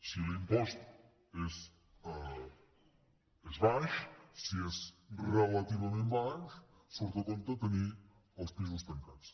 si l’impost és baix si és relativament baix surt a compte tenir els pisos tancats